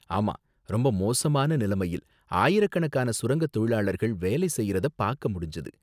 ஆமா, ரொம்ப மோசமான நிலைமையில் ஆயிரக்கணக்கான சுரங்க தொழிலாளர்கள் வேலை செய்யறத பாக்க முடிஞ்சது.